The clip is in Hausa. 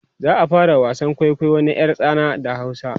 za'a fara wasan kwaikwayo na ƴar tsana da hausa